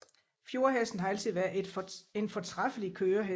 Fjordhesten har altid været en fortræffelig kørehest